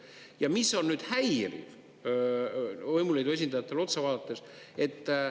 Ja mis on nüüd häiriv võimuliidu esindajatele otsa vaadates?